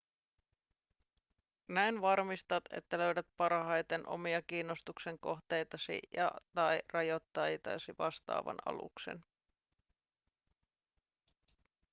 näin varmistat että löydät parhaiten omia kiinnostuksen kohteitasi ja/tai rajoitteitasi vastaavan aluksen